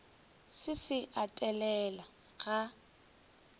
se se a telela ga